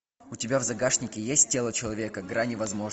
у тебя в загашнике есть тело человека грани возможного